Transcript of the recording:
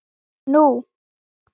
Nú